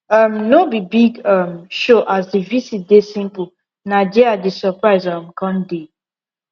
um no be big um show as the dey simple na dia the surprise um come dey